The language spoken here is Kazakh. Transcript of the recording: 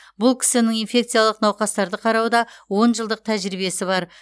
бұл кісінің инфекциялық науқастарды қарауда он жылдық тәжірибесі бар